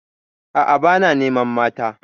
A'a, ba na neman mata.